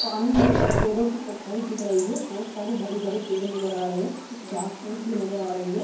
पानी में पेड़ों की परछाई दिख रही है बहोत सारे हरे-भरे पेड़ नज़र आ रहे है कुछ घास-फूँस भी नजर आ रही है।